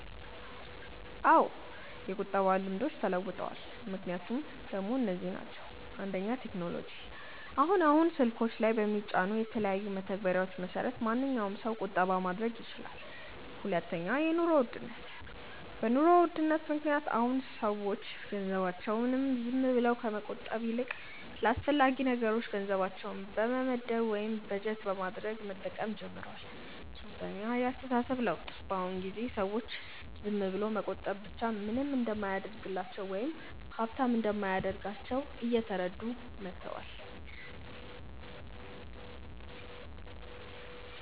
አዎ የቁጠባ ልምዶች ተለውጠዋል። ምክንያቶቹ ደሞ እነዚህ ናቸው፦ 1. ቴክኖሎጂ፦ አሁን አሁን ስልኮች ላይ በሚጫኑ የተለያዩ መተግበሪያዎች መሰረት ማንኛዉም ሰው ቁጠባ ማድረግ ይችላል 2. የኑሮ ውድነት፦ በ ኑሮ ውድነት ምክንያት አሁን አሁን ሰዎች ገንዘባቸውን ዝም ብለው ከመቆጠብ ይልቅ ለአስፈላጊ ነገሮች ገንዘባቸውን በመመደብ ወይም በጀት በማድረግ መጠቀም ጀምረዋል 3. የ አስተሳሰብ ለውጥ፦ በ አሁን ጊዜ ሰዎች ዝም ብሎ መቆጠብ ብቻ ምንም እንደማያደርግላቸው ወይም ሃብታም እንደማያደርጋቸው እየተረዱ መተዋል